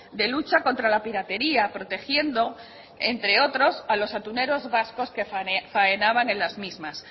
de lucha contra la piratería protegiendo entre otros a los atuneros vascos que faenaban en las mismas